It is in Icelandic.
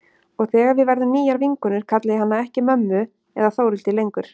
Og þegar við verðum nýjar vinkonur kalla ég hana ekki mömmu eða Þórhildi lengur.